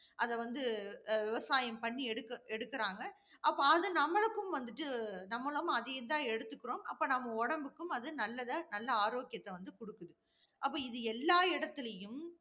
அத வந்து அஹ் விவசாயம் பண்ணி எடுக்க~ எடுக்குறாங்க. அப்ப அது நம்மளுக்கு வந்துட்டு, நம்மளும் அதேயேதான் எடுத்துகிறோம். அப்ப நம்ம உடம்புக்கும் அது நல்லதை நல்ல ஆரோக்கியத்தை வந்து கொடுக்கும். அப்ப இது எல்லா இடத்திலேயும்